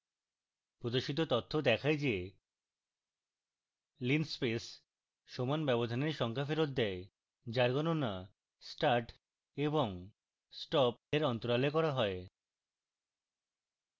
প্রদর্শিত তথ্য দেখায় the: